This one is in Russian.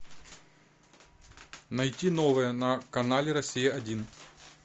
найти новое на канале россия один